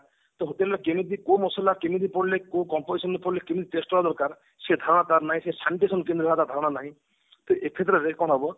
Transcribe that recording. ସେ hotel ରେ କେମତି କୋଉ ମସଲା କେମିତି ପଡିଲେ କୋଉ composition ରେ ପଡିଲେ କେମିତି test ହେବା ଦରକାର ସେ ଧାରଣା ପାଉନାହିଁ ସେ ଧାରଣା ନାହିଁ ତ ଏଥିଦ୍ବାରା ଯେ କଣ ହେବ